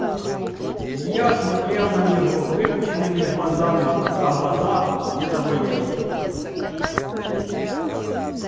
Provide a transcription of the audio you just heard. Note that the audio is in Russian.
илья смотрел на него выпученными глазами пока глаза не заболели